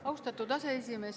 Austatud aseesimees!